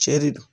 Cɛ de don